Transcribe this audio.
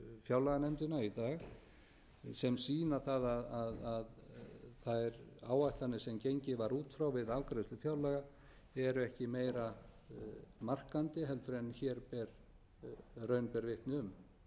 fjárlaganefndina í dag sem sýna það að þær áætlanir sem gengið var út frá við afgreiðslu fjárlaga eru ekki meira varðandi en raun ber vitni um